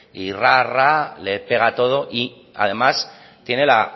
y ras ras le pega a todo y además tiene la